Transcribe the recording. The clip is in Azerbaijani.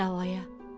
Get davaya.